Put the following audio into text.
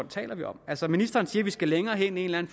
taler vi om altså ministeren siger at vi skal længere hen i en